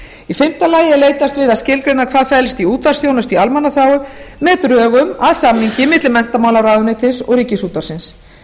í fimmta lagi er leitast við að skilgreina hvað felst í útvarpsþjónustu í almannaþágu með drögum að samningi milli menntamálaráðuneytis og ríkisútvarpsins